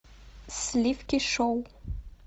сливки шоу